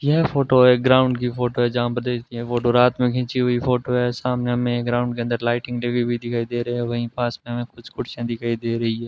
यह फोटो एक ग्राउंड की फोटो है जहां पर देखिए फोटो रात में खींची हुई फोटो है सामने हमें ग्राउंड के अंदर लाइटिंग लगी हुई दिखाई दे रहे है वही पास में हमे कुछ कुर्सियां दिखाई दे रही है।